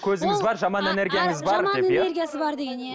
көзіңіз бар жаман энергияңыз бар деп иә энергиясы бар деген иә